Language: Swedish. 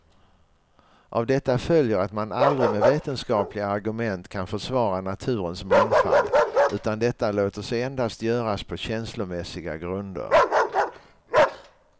Av detta följer att man aldrig med vetenskapliga argument kan försvara naturens mångfald, utan detta låter sig endast göras på känslomässiga grunder.